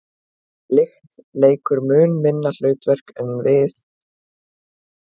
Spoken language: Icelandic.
lykt leikur mun minna hlutverk við að skilgreina og þekkja fæðu en bragðskyn